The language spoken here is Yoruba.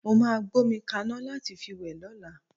Mó máa gbómi kaná láti fi wẹ̀ lọ́la.